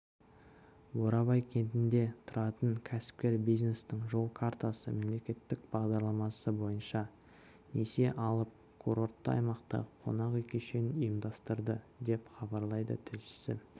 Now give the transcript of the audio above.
бурабай кентінде тұратын кәсіпкер бизнестің жол картасы мемлекеттік бағдарламасы бойынша несие алып курортты аймақта қонақ үй кешенін ұйымдастырды деп хабарлайды тілшісі